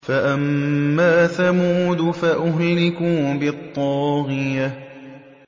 فَأَمَّا ثَمُودُ فَأُهْلِكُوا بِالطَّاغِيَةِ